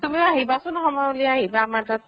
তুমিও আহিবাচোন সময় উলাই আহিবা আমাৰ তাত